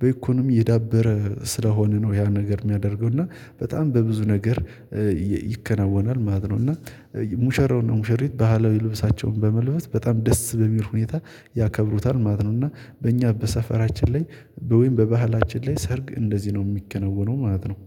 በኢኮኖሚ የዳበረ ስለሆነ ነው ያን ነገር የሚያደርገው እና በጣም በብዙ ነገር ይከናወናል ማለት ነው። እና ሙሸራው እና ሙሸሪት ባህላዊ ልብሳቸውን በመልበስ በጣም ደስ በሚል ሁኔታ ያከብሩታል ማለት ነው። እና በእኛ በሰፈራችን ላይ ወይም በባህላችን ላይ ሰርግ እንደዚህ ነው የሚከነወነው ማለት ነው